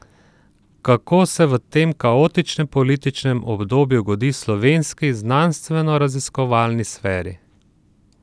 Kako se v tem kaotičnem političnem obdobju godi slovenski znanstvenoraziskovalni sferi?